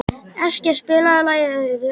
Eskja, spilaðu lagið „Auður“.